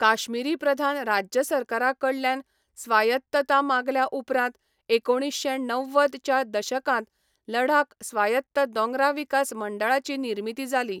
काश्मीरी प्रधान राज्य सरकारा कडल्यान स्वायत्तता मागल्या उपरांत एकोणिशें णव्वद च्या दशकांत लडाख स्वायत्त दोंगरा विकास मंडळाची निर्मिती जाली.